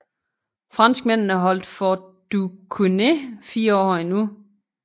Franskmændene holdt Fort Duquesne fire år endnu